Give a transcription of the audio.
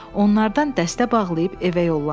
Onlardan dəstə bağlayıb evə yollandı.